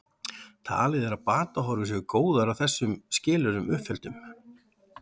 Talið er að batahorfur séu góðar að þessum skilyrðum uppfylltum.